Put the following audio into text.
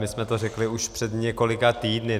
My jsme to už řekli před několika týdny.